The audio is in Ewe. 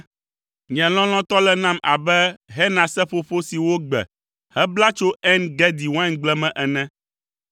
Nye lɔlɔ̃tɔ le nam abe henaseƒoƒo si wogbe hebla tso En Gedi waingble me ene.